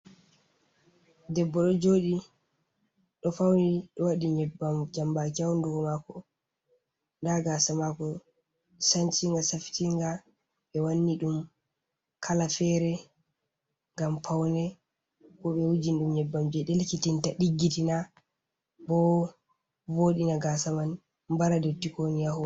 Debbo ɗo jooɗi, ɗo fauni, ɗo wadi nyebbam jambaki hahundukomako, nda gaasa mako sancinga, safitinga, ɓe wanni ɗum kala fere ngam paune, bo ɓe wuujin ɗum nyebbam je delkitinta, diggitina, bo vooɗina gaasa man, bara dotti kowoni ha hore.